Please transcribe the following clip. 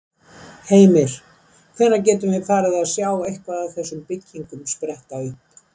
Heimir: Hvenær gætum við farið að sjá eitthvað af þessum byggingum spretta upp?